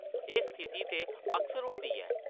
एह् स्थिति ते अक्सर होंदी ऐ ।